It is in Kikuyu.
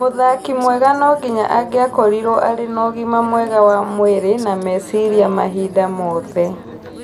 Mũthaki mwega nonginya angĩakorirwo arĩ na ũgima mwega wa mwĩrĩ na meciria mahinda mothe